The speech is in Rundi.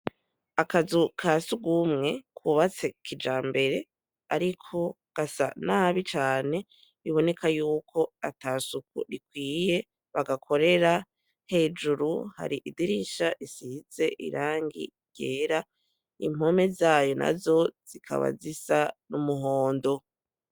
Akazu kasugumwe kubatse kijambere ariko gasa nabi cane biboneka yuko atasuku rikwiye bagakorera, hejuru hari idirisha risize irangi ryera, impome zayo nazo zikaba zisa n'umuhondo.